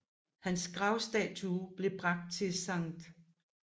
Hans gravstatue blev bragt til St